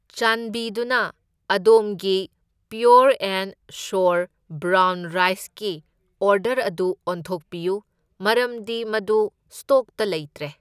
ꯆꯥꯟꯕꯤꯗꯨꯅ ꯑꯗꯣꯝꯒꯤ pure and sure brown ꯔꯥꯏꯁꯀꯤ ꯑꯣꯔꯗꯔ ꯑꯗꯨ ꯑꯣꯟꯊꯣꯛꯄꯤꯌꯨ, ꯃꯔꯝꯗꯤ ꯃꯗꯨ ꯁ꯭ꯇꯣꯛꯇ ꯂꯩꯇ꯭ꯔꯦ꯫